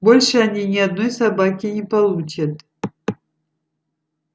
больше они ни одной собаки не получат